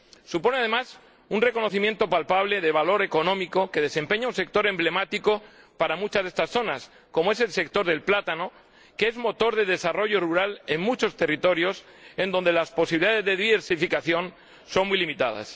Supone, además, un reconocimiento palpable de valor económico que desempeña un sector emblemático para muchas de estas zonas, como es el sector del plátano, que es motor de desarrollo rural en muchos territorios donde las posibilidades de diversificación son muy limitadas.